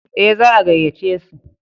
Ee, za a gayyace su.